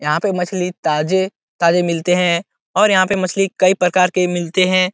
यहाँ पे मछली ताजे ताजे मिलते हैं और यहाँ पे मछली कई प्रकार के मिलते हैं।